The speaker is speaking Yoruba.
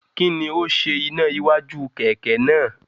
Kí ni ó ṣe iná iwájú kẹ̀kẹ́ náà?